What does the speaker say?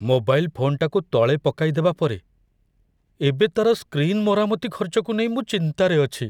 Mobile ଫୋନ୍‌ଟାକୁ ତଳେ ପକାଇଦେବା ପରେ, ଏବେ ତା'ର ସ୍କ୍ରିନ୍ ମରାମତି ଖର୍ଚ୍ଚକୁ ନେଇ ମୁଁ ଚିନ୍ତାରେ ଅଛି।